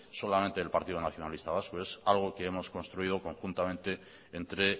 solamente el partido nacionalista vasco es algo que hemos construido conjuntamente entre